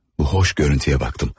Bu xoş görüntüye baxdım.